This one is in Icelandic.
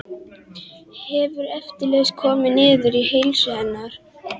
Hefur eflaust komið niður á heilsu hennar.